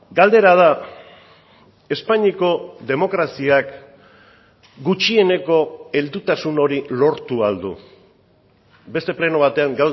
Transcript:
galdera da espainiako demokraziak gutxieneko heldutasun hori lortu ahal du beste pleno batean